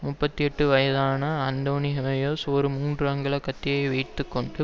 முப்பத்தி எட்டு வயதான அந்தோனி ஹயேஸ் ஒரு மூன்று அங்குல கத்தியை வைத்து கொண்டு